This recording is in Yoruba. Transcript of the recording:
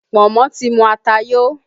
Pọ̀nmọ́ ti mu ata yo